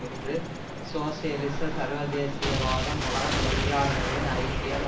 இன்று சோசியலிச சர்வ தேசிய வாதம் உலக தொழிலாளர்களின் ஐக்கியம்